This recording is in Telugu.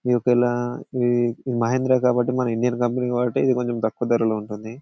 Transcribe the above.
ఇది ఒక వేళా ఇది మహేంద్ర కాబట్టి మన ఇండియా కంపెనీ కాబట్టి ఇది కొంచెం తక్కువ ధరలో ఉంటుంది.